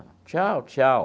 Tchau, tchau.